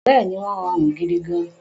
Bẹ́ẹ̀ni, wọ́n rọrùn gidigan